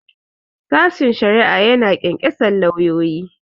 Sashen shari'a ya na ƙyanƙyasar lauyoyi.